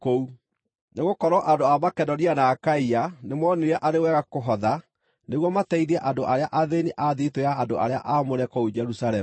Nĩgũkorwo andũ a Makedonia na a Akaia nĩmoonire arĩ wega kũhotha nĩguo mateithie andũ arĩa athĩĩni a thiritũ ya andũ arĩa aamũre kũu Jerusalemu.